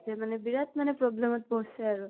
হতে মানে বিৰাত মানে problem ত পৰছে আৰু।